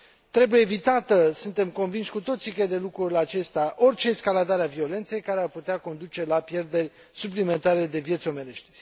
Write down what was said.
Trebuie evitată, suntem convinși cu toții cred de lucru la aceasta, orice escaladare a violenței care ar putea conduce la pierderi suplimentare de vieți omenești.